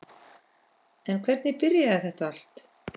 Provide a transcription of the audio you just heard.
En hvernig byrjaði þetta allt?